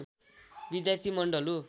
विद्यार्थी मण्डल हो